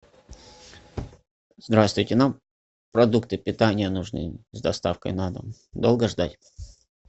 здравствуйте нам продукты питания нужны с доставкой на дом долго ждать